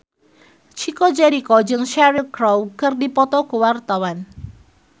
Chico Jericho jeung Cheryl Crow keur dipoto ku wartawan